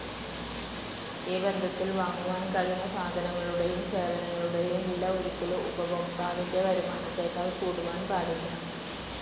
ഈ ബന്ധത്തിൽ വാങ്ങുവാൻ കഴിയുന്ന സാധനങ്ങളുടേയും സേവനങ്ങളുടേയും വില ഒരിക്കലും ഉപഭോക്താവിന്റെ വരുമാനത്തേക്കാൾ കൂടുവാൻ പാടില്ല.